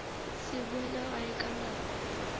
se boele gae ka nako